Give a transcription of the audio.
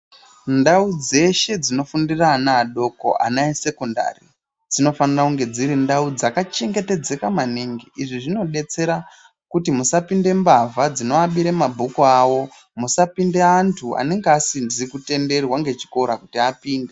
Ndau dzeshe dzinofundira ana adoko, ana esekondari dzinofanira kunga dziri ndau dzakachengetedzeka maningi izvi zvinodetsera kuti musapinde mbavha dzinoabire mabhuku awo, musapinde antu asizi kutenderwa nechikora kuti apinde.